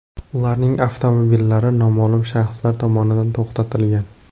Ularning avtomobillari noma’lum shaxslar tomonidan to‘xtatilgan.